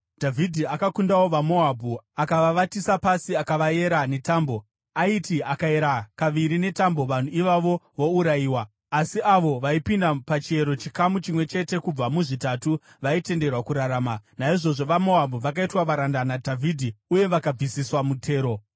Dhavhidhi akakundawo vaMoabhu. Akavavatisa pasi akavayera netambo. Aiti akaera kaviri netambo vanhu ivavo vourayiwa, asi avo vaipinda pachiero chikamu chimwe chete kubva muzvitatu vaitenderwa kurarama. Naizvozvo vaMoabhu vakaitwa varanda naDhavhidhi uye vakabvisiswa mutero.